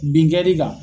Bin kɛ li kan